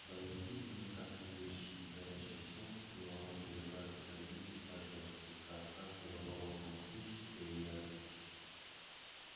да вот именно так и есть что горячее солнце было матерью каждой травинки каждого цветка каждого болотного кустика и ягодки